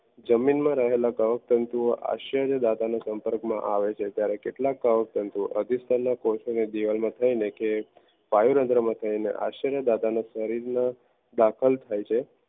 જમીનમાં રહેલા કવક તંતુઓ આશ્ચર્ય દાદા ના સંપર્ક માં આવે છે જ્યારે કેટલાંક કવક તંતુઓ અધિકતર દિવાલમાં થઈને કે પાઈરઅગરમ થઈને આશ્ચર્ય દાદા શરીરમાં દાખલ થાય છે